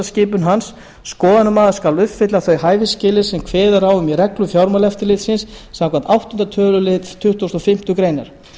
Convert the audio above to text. skipun hans skoðunarmaður skal uppfylla þau hæfisskilyrði sem kveðið er á um í reglum fjármálaeftirlitsins samkvæmt áttunda töluliðar tuttugasta og fimmtu greinar